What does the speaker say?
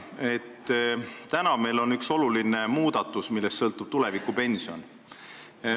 Meil on siin üks oluline muudatus, millest sõltub tulevikupension.